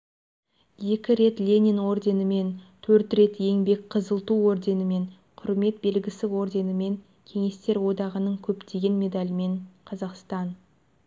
екі рет ленин орденімен төрт рет еңбек қызыл ту орденімен құрмет белгісі орденімен кеңестер одағының көптеген медалімен қазақстан